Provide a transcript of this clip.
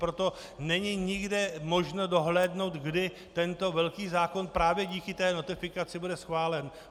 Proto není nikde možné dohlédnout, kdy tento velký zákon právě díky té notifikaci bude schválen.